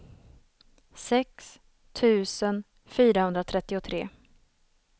sex tusen fyrahundratrettiotre